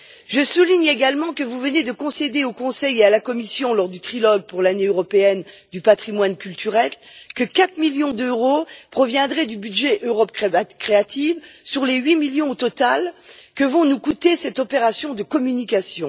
Je souligne également que vous venez de concéder au Conseil et à la Commission, lors du trilogue pour l'Année européenne du patrimoine culturel, que 4 millions d'euros proviendraient du budget Europe créative sur les 8 millions que va nous coûter au total cette opération de communication.